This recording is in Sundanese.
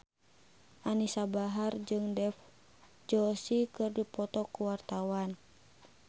Anisa Bahar jeung Dev Joshi keur dipoto ku wartawan